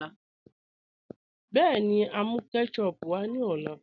Bẹẹni, à n mú kẹ́tẹ̀chùp wá ní ọlá